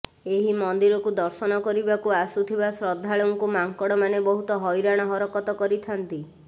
ଏହି ମନ୍ଦିରକୁ ଦର୍ଶନ କରିବାକୁ ଆସୁଥିବା ଶ୍ରଦ୍ଧାଳୁଙ୍କୁ ମାଙ୍କଡମାନେ ବହୁତ ହଇରାଣ ହରକତ କରିଥାନ୍ତି